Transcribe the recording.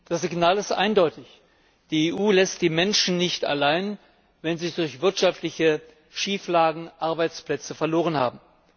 Das Signal ist eindeutig Die EU lässt die Menschen nicht allein, wenn sie durch wirtschaftliche Schieflagen ihren Arbeitsplatz verloren haben.